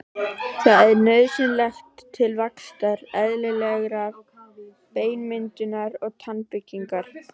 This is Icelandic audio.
Það er nauðsynlegt til vaxtar, eðlilegrar beinmyndunar og tannbyggingar.